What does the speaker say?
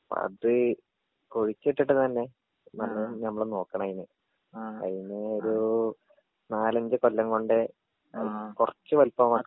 അത് കുഴിച്ചിട്ടിട്ട് തന്നെ നല്ലോണം നമ്മള് നോക്കണം അയിനെ അയിനെ ഒരൂ നാലഞ്ച് കൊല്ലം കൊണ്ട് അത് കൊറച്ച് വലുപ്പം വെക്കാൻ.